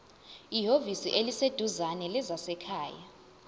ehhovisi eliseduzane lezasekhaya